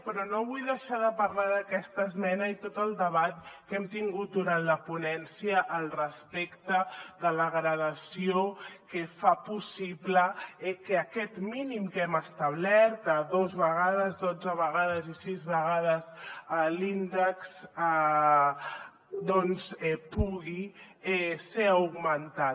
però no vull deixar de parlar d’aquesta esmena i tot el debat que hem tingut durant la ponència al respecte de la gradació que fa possible que aquest mínim que hem establert de dos vegades dotze vegades i sis vegades l’índex doncs pugui ser augmentat